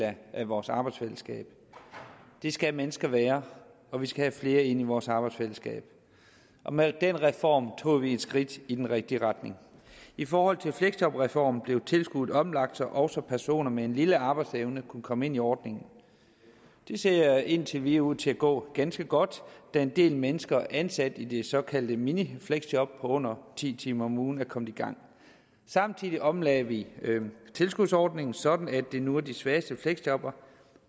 af vores arbejdsfællesskab det skal mennesker være og vi skal have flere ind i vores arbejdsfællesskab med den reform tog vi et skridt i den rigtige retning i forhold til fleksjobreformen blev tilskuddet omlagt så også personer med en lille arbejdsevne kunne komme ind i ordningen det ser indtil videre ud til at gå ganske godt da en del mennesker ansat i de såkaldte minifleksjob på under ti timer om ugen er kommer i gang samtidig omlagde vi tilskudsordningen sådan at det nu er de svageste fleksjobbere